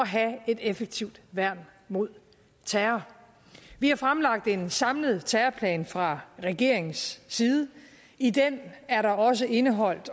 have et effektivt værn mod terror vi har fremlagt en samlet terrorplan fra regeringens side i den er der også indeholdt